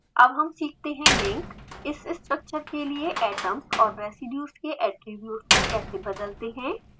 अब हम सीखते हैं लिंक इस स्ट्रक्चर के लिए atoms और residues के ऐट्रिब्यूट्स को कैसे बदलते हैं